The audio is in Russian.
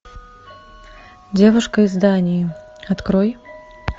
девушка из дании открой